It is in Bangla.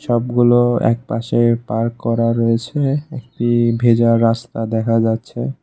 সবগুলো একপাশে পার্ক করা রয়েছে একটি ভেজা রাস্তা দেখা যাচ্ছে।